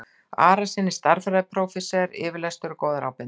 Arasyni stærðfræðiprófessor yfirlestur og góðar ábendingar.